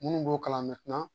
Minnu b'o kalan